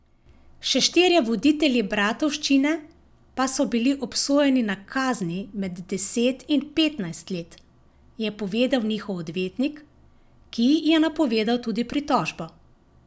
Še štirje voditelji bratovščine pa so bili obsojeni na kazni med deset in petnajst let, je povedal njihov odvetnik, ki je napovedal tudi pritožbo.